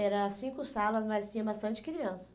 Era cinco salas, mas tinha bastante criança.